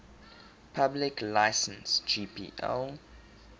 public license gpl